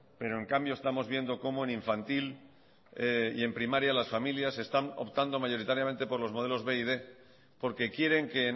pero en cambio estamos viendo como en infantil y en primaria las familias están optando mayoritariamente por los modelos b y quinientos porque quieren que